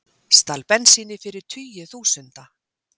Stal bensíni fyrir tugi þúsunda